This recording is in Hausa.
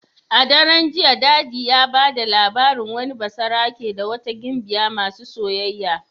A daren jiya daddy ya bada labarin wani basarake da wata gimbiya masu soyayya.